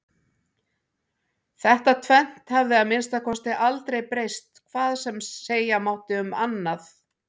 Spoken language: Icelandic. Þetta tvennt hafði að minnsta kosti aldrei breyst hvað sem segja mátti um annað.